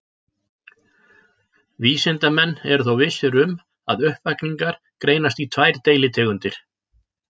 Vísindamenn eru þó vissir um að uppvakningar greinast í tvær deilitegundir.